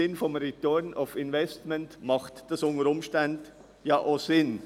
Wenn man den Return on Investment betrachtet, ergibt dies unter Umständen einen Sinn.